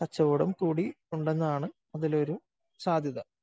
കച്ചവടം കൂടി ഉണ്ടെന്നാണ് അതിലൊരു സാധ്യത.